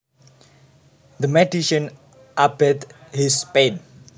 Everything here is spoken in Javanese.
The medicine abated his pain